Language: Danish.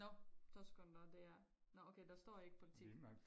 Nåh 2 sekunder det er nåh okay der står ikke politik